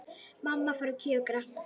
Mamma fór að kjökra.